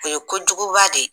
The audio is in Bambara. O ye kojuguba de ye.